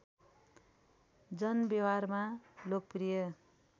जनव्यवहारमा लोकप्रिय